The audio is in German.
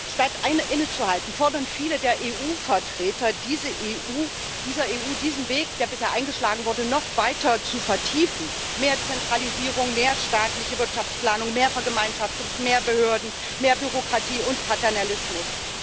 Statt einmal innezuhalten, fordern viele der Vertreter dieser EU ,diesen Weg, der bisher eingeschlagen wurde, noch weiter zu vertiefen mehr Zentralisierung, mehr staatliche Wirtschaftsplanung, mehr Vergemeinschaftung, mehr Behörden, mehr Bürokratie und Paternalismus